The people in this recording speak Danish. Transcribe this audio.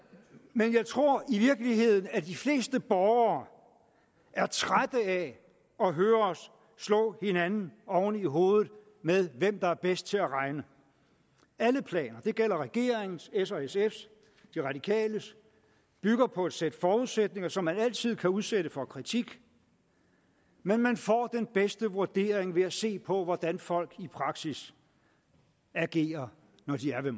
men jeg tror i virkeligheden de fleste borgere er trætte af at høre os slå hinanden oven i hovedet med hvem der er bedst til at regne alle planer det gælder regeringens s og sfs de radikales bygger på et sæt forudsætninger som man altid kan udsætte for kritik men man får den bedste vurdering ved at se på hvordan folk i praksis agerer når de er ved